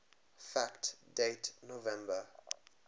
fact date november